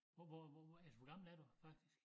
Hvor hvor hvor er hvor gammel er du faktisk?